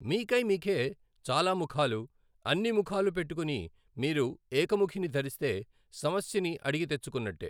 మీకై మీకే చాలా ముఖాలు, అన్ని ముఖాలు పెట్టుకుని మీరు ఏఖముఖిని ధరిస్తే సమస్యని అడిగి తెచ్చుకున్నట్టే.